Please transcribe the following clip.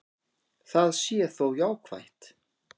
Það sé þó jákvætt.